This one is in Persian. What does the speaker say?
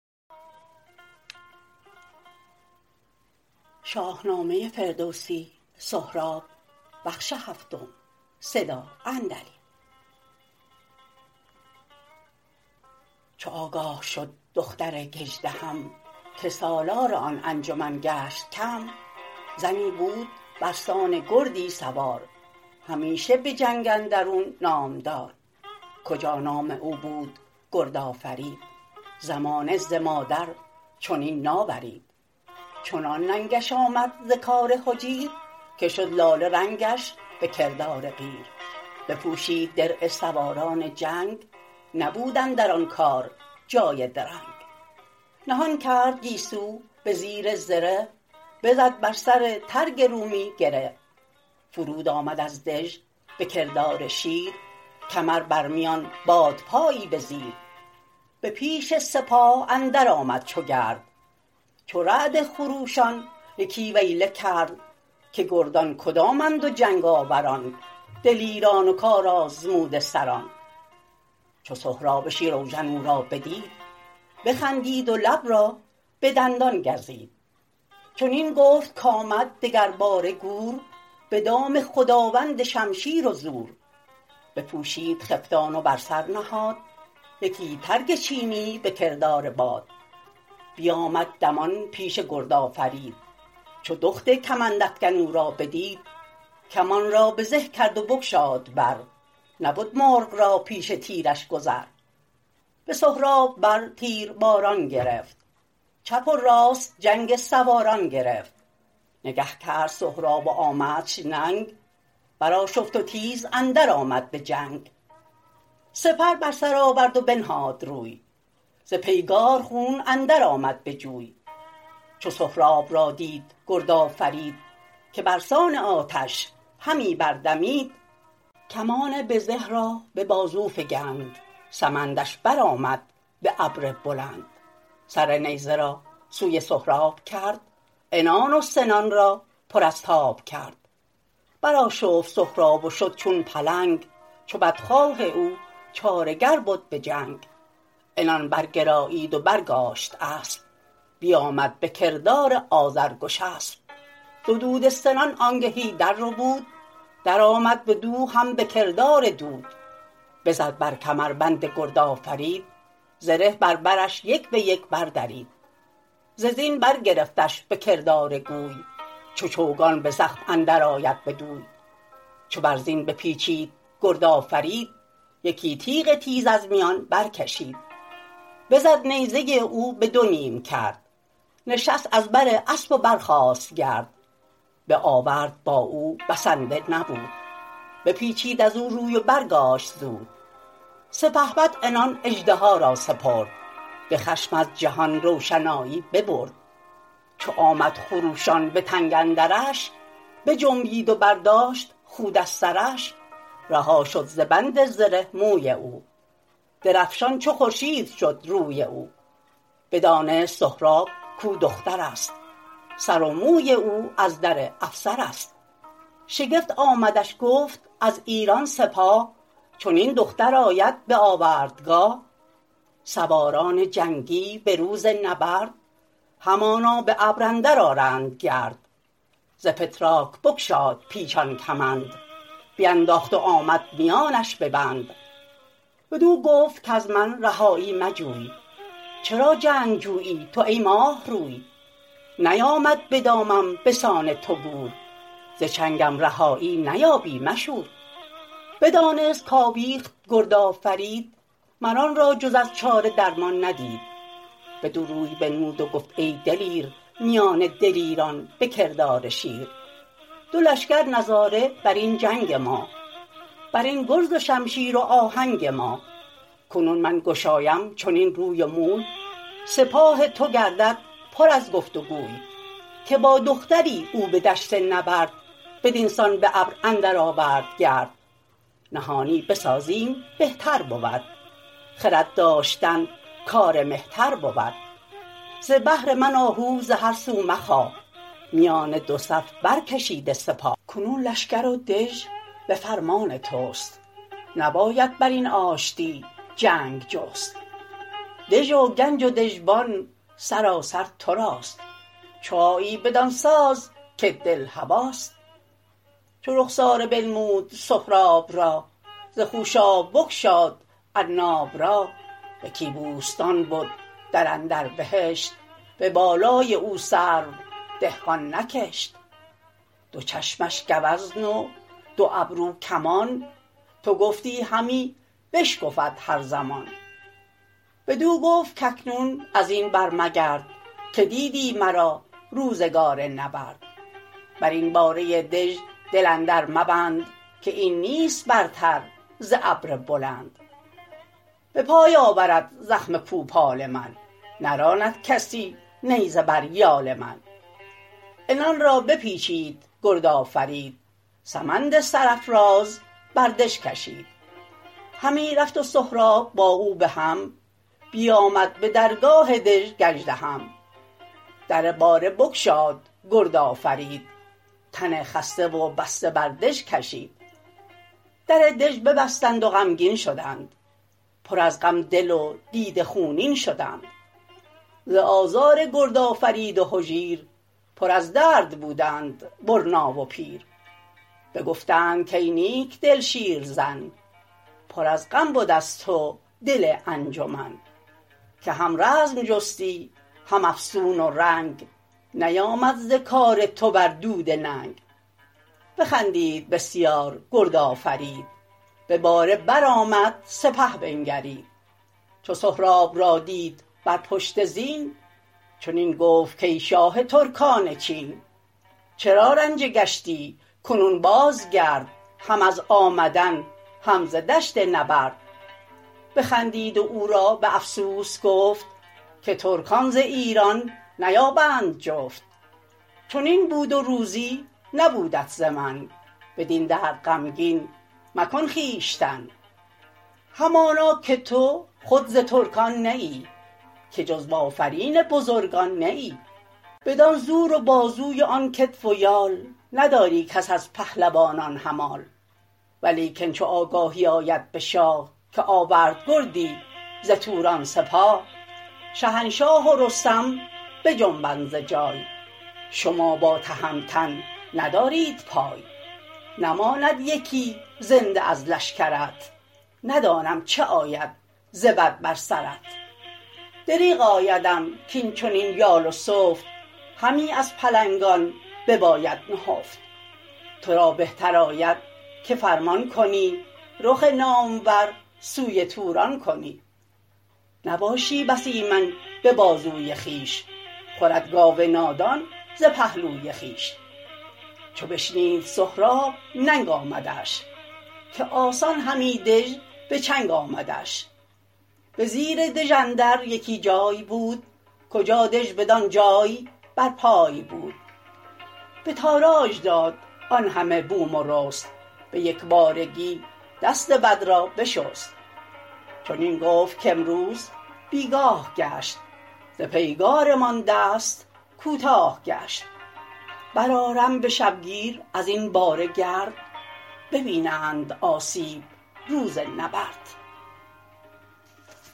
چو آگاه شد دختر گژدهم که سالار آن انجمن گشت کم زنی بود برسان گردی سوار همیشه به جنگ اندرون نامدار کجا نام او بود گردآفرید زمانه ز مادر چنین ناورید چنان ننگش آمد ز کار هجیر که شد لاله رنگش به کردار قیر بپوشید درع سواران جنگ نبود اندر آن کار جای درنگ نهان کرد گیسو به زیر زره بزد بر سر ترگ رومی گره فرود آمد از دژ به کردار شیر کمر بر میان بادپایی به زیر به پیش سپاه اندر آمد چو گرد چو رعد خروشان یکی ویله کرد که گردان کدامند و جنگ آوران دلیران و کارآزموده سران چو سهراب شیراوژن او را بدید بخندید و لب را به دندان گزید چنین گفت کامد دگر باره گور به دام خداوند شمشیر و زور بپوشید خفتان و بر سر نهاد یکی ترگ چینی به کردار باد بیامد دمان پیش گرد آفرید چو دخت کمندافگن او را بدید کمان را بزه کرد و بگشاد بر نبد مرغ را پیش تیرش گذر به سهراب بر تیر باران گرفت چپ و راست جنگ سواران گرفت نگه کرد سهراب و آمدش ننگ برآشفت و تیز اندر آمد به جنگ سپر بر سر آورد و بنهاد روی ز پیگار خون اندر آمد به جوی چو سهراب را دید گردآفرید که برسان آتش همی بردمید کمان بزه را به بازو فگند سمندش برآمد به ابر بلند سر نیزه را سوی سهراب کرد عنان و سنان را پر از تاب کرد برآشفت سهراب و شد چون پلنگ چو بدخواه او چاره گر بد به جنگ عنان برگرایید و برگاشت اسپ بیامد به کردار آذرگشسپ زدوده سنان آنگهی درربود درآمد بدو هم به کردار دود بزد بر کمربند گردآفرید زره بر برش یک به یک بردرید ز زین برگرفتش به کردار گوی چو چوگان به زخم اندر آید بدوی چو بر زین بپیچید گرد آفرید یکی تیغ تیز از میان برکشید بزد نیزه او به دو نیم کرد نشست از بر اسپ و برخاست گرد به آورد با او بسنده نبود بپیچید ازو روی و برگاشت زود سپهبد عنان اژدها را سپرد به خشم از جهان روشنایی ببرد چو آمد خروشان به تنگ اندرش بجنبید و برداشت خود از سرش رها شد ز بند زره موی اوی درفشان چو خورشید شد روی اوی بدانست سهراب کاو دخترست سر و موی او ازدر افسرست شگفت آمدش گفت از ایران سپاه چنین دختر آید به آوردگاه سواران جنگی به روز نبرد همانا به ابر اندر آرند گرد ز فتراک بگشاد پیچان کمند بینداخت و آمد میانش ببند بدو گفت کز من رهایی مجوی چرا جنگ جویی تو ای ماهروی نیامد بدامم بسان تو گور ز چنگم رهایی نیابی مشور بدانست کاویخت گردآفرید مر آن را جز از چاره درمان ندید بدو روی بنمود و گفت ای دلیر میان دلیران به کردار شیر دو لشکر نظاره برین جنگ ما برین گرز و شمشیر و آهنگ ما کنون من گشایم چنین روی و موی سپاه تو گردد پر از گفت وگوی که با دختری او به دشت نبرد بدین سان به ابر اندر آورد گرد نهانی بسازیم بهتر بود خرد داشتن کار مهتر بود ز بهر من آهو ز هر سو مخواه میان دو صف برکشیده سپاه کنون لشکر و دژ به فرمان تست نباید برین آشتی جنگ جست دژ و گنج و دژبان سراسر تراست چو آیی بدان ساز کت دل هواست چو رخساره بنمود سهراب را ز خوشاب بگشاد عناب را یکی بوستان بد در اندر بهشت به بالای او سرو دهقان نکشت دو چشمش گوزن و دو ابرو کمان تو گفتی همی بشکفد هر زمان بدو گفت کاکنون ازین برمگرد که دیدی مرا روزگار نبرد برین باره دژ دل اندر مبند که این نیست برتر ز ابر بلند بپای آورد زخم کوپال من نراندکسی نیزه بر یال من عنان را بپیچید گرد آفرید سمند سرافراز بر دژ کشید همی رفت و سهراب با او به هم بیامد به درگاه دژ گژدهم در باره بگشاد گرد آفرید تن خسته و بسته بر دژ کشید در دژ ببستند و غمگین شدند پر از غم دل و دیده خونین شدند ز آزار گردآفرید و هجیر پر از درد بودند برنا و پیر بگفتند کای نیکدل شیرزن پر از غم بد از تو دل انجمن که هم رزم جستی هم افسون و رنگ نیامد ز کار تو بر دوده ننگ بخندید بسیار گرد آفرید به باره برآمد سپه بنگرید چو سهراب را دید بر پشت زین چنین گفت کای شاه ترکان چین چرا رنجه گشتی کنون بازگرد هم از آمدن هم ز دشت نبرد بخندید و او را به افسوس گفت که ترکان ز ایران نیابند جفت چنین بود و روزی نبودت ز من بدین درد غمگین مکن خویشتن همانا که تو خود ز ترکان نه ای که جز بآفرین بزرگان نه ای بدان زور و بازوی و آن کتف و یال نداری کس از پهلوانان همال ولیکن چو آگاهی آید به شاه که آورد گردی ز توران سپاه شهنشاه و رستم بجنبد ز جای شما با تهمتن ندارید پای نماند یکی زنده از لشکرت ندانم چه آید ز بد بر سرت دریغ آیدم کاین چنین یال و سفت همی از پلنگان بباید نهفت ترا بهتر آید که فرمان کنی رخ نامور سوی توران کنی نباشی بس ایمن به بازوی خویش خورد گاو نادان ز پهلوی خویش چو بشنید سهراب ننگ آمدش که آسان همی دژ به چنگ آمدش به زیر دژ اندر یکی جای بود کجا دژ بدان جای بر پای بود به تاراج داد آن همه بوم و رست به یکبارگی دست بد را بشست چنین گفت کامروز بیگاه گشت ز پیگارمان دست کوتاه گشت برآرم به شبگیر ازین باره گرد ببینند آسیب روز نبرد